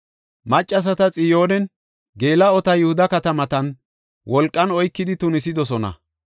Maccasata Xiyoonen geela7ota Yihuda katamatan wolqan oykidi tunisidosona.